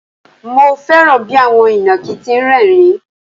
Mo fẹ́ràn bí àwọn ìnàkí ti ń rẹ́ẹ̀rín.